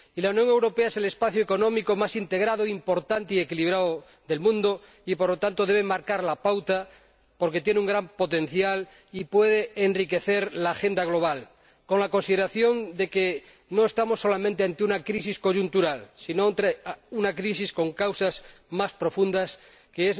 Y la Unión Europea es el espacio económico más integrado, importante y equilibrado del mundo y, por lo tanto, debe marcar la pauta porque tiene un gran potencial y puede enriquecer la agenda global, con la consideración de que no estamos solamente ante una crisis coyuntural, sino ante una crisis con causas más profundas que